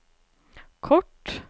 kort